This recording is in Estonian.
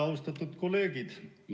Austatud kolleegid!